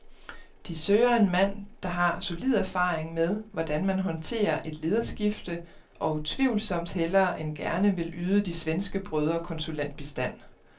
De søger en mand, der har solid erfaring med, hvordan man håndterer et lederskifte og utvivlsomt hellere end gerne vil yde de svenske brødre konsulentbistand.